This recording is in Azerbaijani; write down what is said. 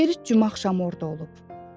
Berit cümə axşamı orda olub.